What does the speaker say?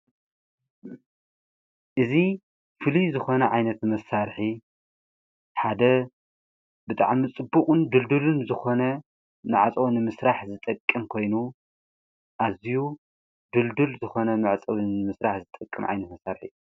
እዙ ፍል ዝኾነ ዓይነት መሣርኂ ሓደ ብጥዓ ምጽቡቕን ድልድልን ዝኾነ ንኣፀዎ ንምሥራሕ ዝጠቅም ኮይኑ ኣዚዩ ድልድል ዝኾነ መዕጸብን ምሥራሕ ዝጠቅም ዓይነት መሣርሒ እዩ።